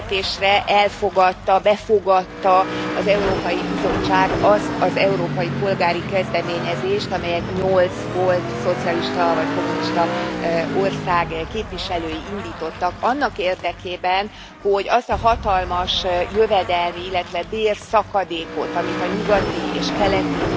Meglepetésre elfogadta, befogadta az Európai Bizottság azt az európai polgári kezdeményezést, amelyet nyolc volt szocialista vagy kommunista ország képviselői indítottak annak érdekében, hogy azt a hatalmas jövedelmi, illetve bérszakadékot, amit a nyugati és keleti